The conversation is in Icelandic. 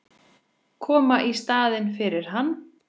Koma í staðinn fyrir hann.